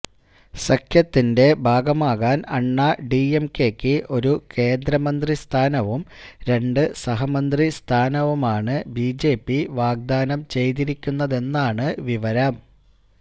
സഖ്യത്തിന്റെ ഭാഗമാകാന് അണ്ണാ ഡിഎംകെയ്ക്ക് ഒരു കേന്ദ്രമന്ത്രി സ്ഥാനവും രണ്ട് സഹമന്ത്രി സ്ഥാനവുമാണ് ബിജെപി വാഗ്ദാനം ചെയ്തിരിക്കുന്നതെന്നാണ് വിവരം